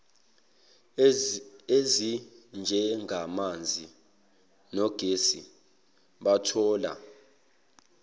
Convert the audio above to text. ezinjengamanzi nogesi bathola